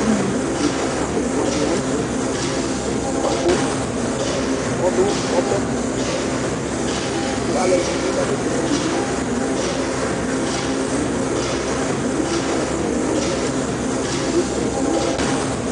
ugni kika ɛfua di la nu tɛ bʋa ku ɔdu ɔbɛtu ku alu ɛdini bi kasɛsɛ nu ɔbɛ li huu uvi tigna tigna wʋa bi ke bo sɛ nu ata mi ava